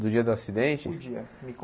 Do dia do acidente? O dia me